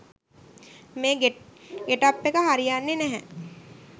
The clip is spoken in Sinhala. මේ ගෙටප් එක හරියන්නේ නැහැ